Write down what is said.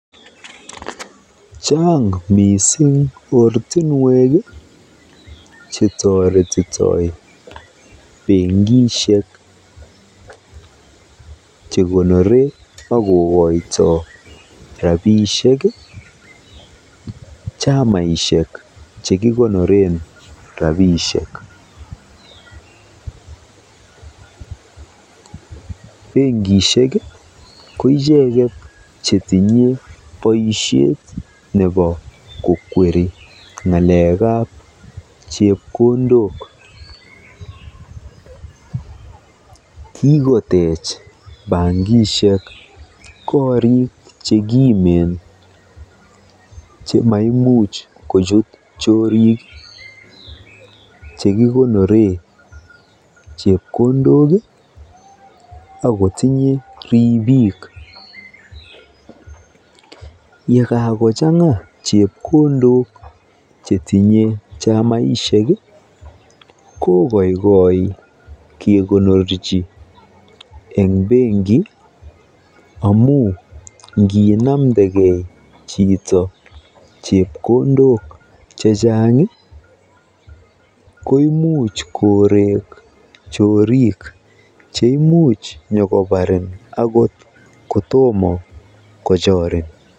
Chaang mising ortinwek chetoretitoi bankisiek chekonori akokoitoi rabiisiek chamaisiek chekikonore rabiisiek. Bankisiek ko icheket chetinye boisiet nebo kokweri ng'alekab chepkondok. Kikotech bankisiek koriik chekimen chemaimuch kochut choorik akotinye ribiik. Yekakochang'a chepkondok chetinye chamaisiek kokoikoi kekonorchi eng benki amu nginamndekei chito chepkondok chechang koimuch koreek choriik cheimuch nyokoparin angot kotomo kochorin.